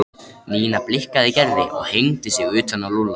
Nína blikkaði Gerði og hengdi sig utan á Lúlla.